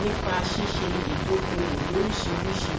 nípa ṣíṣe ìdóokòòwò lóríṣiríṣi